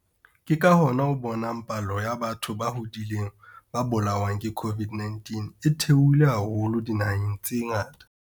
Ke ka hona o bonang palo ya batho ba hodileng ba bolawang ke COVID-19 e theoha haholo dinaheng tse ngata.